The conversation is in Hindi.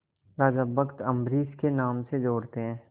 राजा भक्त अम्बरीश के नाम से जोड़ते हैं